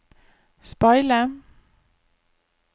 speile